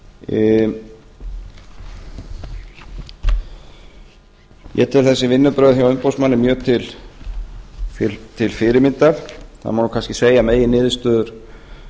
tvö stjórnvöldum ég tel þessi vinnubrögð hjá umboðsmanni mjög til fyrirmyndar það má kannski segja að